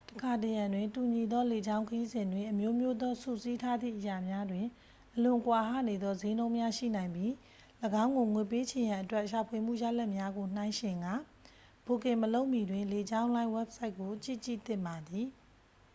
တစ်ခါတစ်ရံတွင် တူညီသောလေကြောင်းခရီးစဉ်တွင် အမျိုးမျိုးသောစုစည်းထားသည့်အရာများတွင် အလွန်ကွာဟနေသောစျေးနှုန်းများရှိနိုင်ပြီး ၎င်းကိုငွေပေးချေရန်အတွက် ရှာဖွေမှုရလဒ်များကိုနှိုင်းယှဉ်ကာ ဘွတ်ကင်မလုပ်မီတွင် လေကြောင်းလိုင်းဝဘ်ဆိုက်ကိုကြည့်ကြည့်သင့်ပါသည်